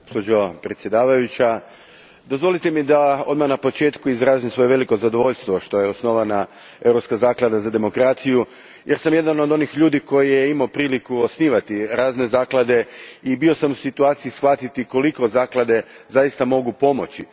Gospođo predsjednice, dozvolite mi da odmah na početku izrazim svoje veliko zadovoljstvo što je osnovana Europska zaklada za demokraciju jer sam jedan od onih ljudi koji su imali priliku osnivati razne zaklade i bio sam u situaciji shvatiti koliko zaklade zaista mogu pomoći.